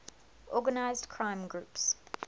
organized crime groups